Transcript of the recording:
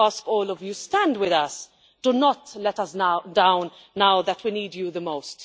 I ask all of you stand with us, do not let us down now that we need you most.